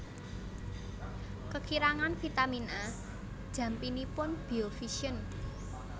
Kekirangan vitamin A jampinipun biovision